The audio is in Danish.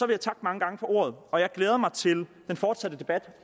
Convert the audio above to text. jeg takke mange gange for ordet og jeg glæder mig til den fortsatte debat